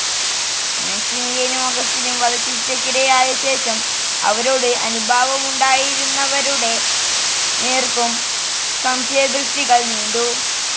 മാക്സിമിലിയനും അഗസ്റ്റിനും വധശിക്ഷക്കിരയായശേഷം അവരോട് അനുഭാവമുണ്ടായിരുന്നവരുടെ നേർക്കും സംശയദൃഷ്ടികൾ നീണ്ടു.